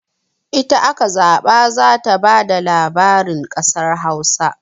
Ita aka zaɓa za ta ba da labarin kasar Hausa.